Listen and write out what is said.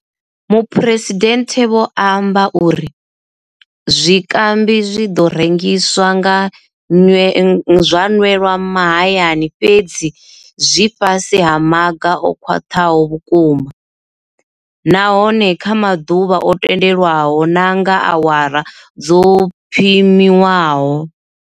Muphuresidennde vho amba uri. Zwikambi zwi ḓo rengiswa zwa nwelwa mahayani fhedzi zwi fhasi ha maga o khwaṱhaho vhukuma, nahone kha maḓuvha o tendelwaho na nga awara dzo pimiwaho.